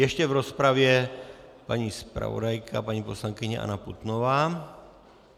Ještě v rozpravě paní zpravodajka, paní poslankyně Anna Putnová.